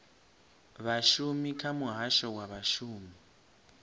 vhashumi kha muhasho wa vhashumi